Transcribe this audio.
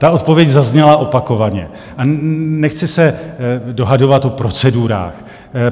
Ta odpověď zazněla opakovaně a nechci se dohadovat o procedurách.